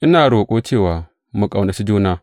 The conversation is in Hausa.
Ina roƙo cewa mu ƙaunaci juna.